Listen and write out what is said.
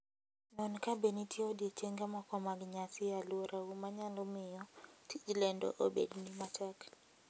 Non kabe nitie odiechienge moko mag nyasi e alworau manyalo miyo tij lendo obedni matek.